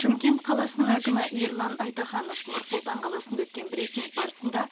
шымкент қаласының әкімі ерлан айтаханов нұр сұлтан қаласында өткен брифинг барысында